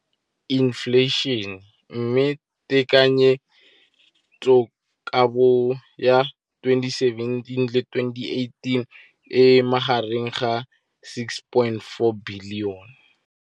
Infleišene, mme tekanyetsokabo ya 2017, 18, e magareng ga R6.4 bilione.